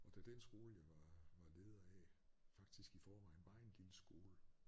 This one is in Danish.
Og da den jeg skole jeg var var leder af faktisk i forvejen var en lille skole